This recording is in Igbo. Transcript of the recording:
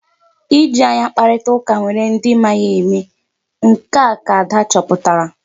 Iji anya kparịtaa ụka nwere ndị ma ya eme. Nke a ka Ada chọpụtara.